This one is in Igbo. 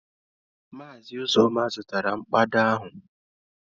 Maazị Uzoma zụtara mkpado ahụ